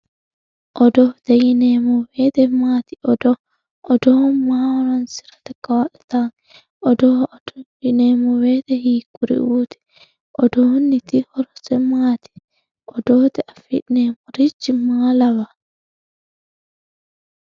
odoote yineemmo woyiite maati odoo odoo maaho horoonsirate kaa'litanno odoo yineemmo woyiite hiikkuriuuti odoonnoti horose maati odooteyii afi'neemmorichi maa lawawoo